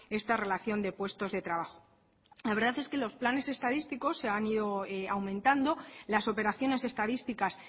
esta relación de puestos de trabajo la verdad es que los planes estadísticos se han ido aumentando las operaciones estadísticas